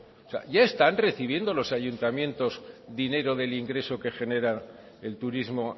o sea ya están recibiendo los ayuntamientos dinero del ingreso que genera el turismo